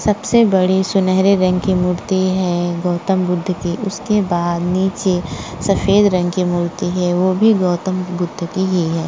सबसे बड़ी सुनहरे रंग की मूर्ति है गौतम बुद्ध की। उसके बाद नीचे सफेद रंग की मूर्ति है वह भी गौतम बुद्ध की ही है।